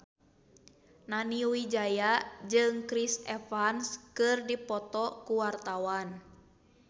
Nani Wijaya jeung Chris Evans keur dipoto ku wartawan